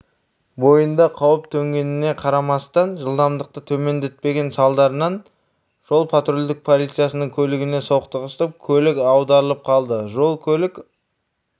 бойында қауіп төнгеніне қарамастан жылдамдықты төмендетпеген салдарынан жол-патрульдік полициясының көлігіне соқтығысып көлік аударылып қалды жол-көлік